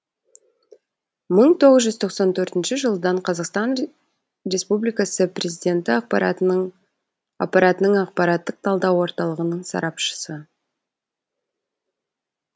мың тоғыз жүз тоқсан төртінші жылдан қазақстан республикасы президенті аппаратының ақпараттық талдау орталығының сарапшысы